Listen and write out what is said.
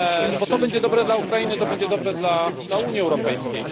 bo to będzie dobre dla Ukrainy, to będzie dobre dla Unii Europejskiej.